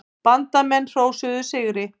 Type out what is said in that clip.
Bandamenn hrósuðu sigri.